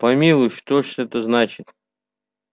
помилуй что ж это значит